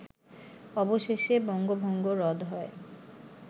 অবশেষে বঙ্গভঙ্গ রদ হয়